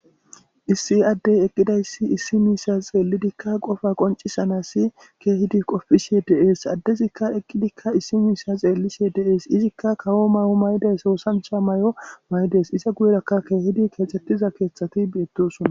Issi addey eqidas issi misha xelidinne qopa qonc'isana kehidi qopishe des adezika eqidika issi misha xelisheka de'es izzika kawo mayo mayidaysi osancha mayo mayidaysi pizza guyeraka kehidi kexetiza kethati betosona